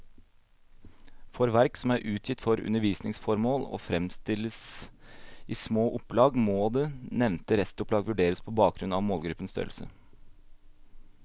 For verk som er utgitt for undervisningsformål og fremstilles i små opplag, må det nevnte restopplag vurderes på bakgrunn av målgruppens størrelse.